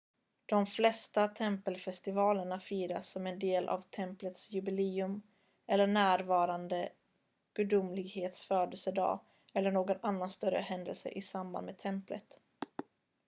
de flesta tempelfestivalerna firas som en del av templets jubileum eller närvarande gudomlighets födelsedag eller någon annan större händelse i samband med templet